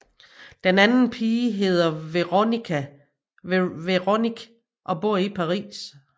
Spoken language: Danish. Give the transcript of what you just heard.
Den anden pige hedder Veronique og bor i Paris